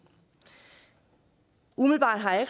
umiddelbart har jeg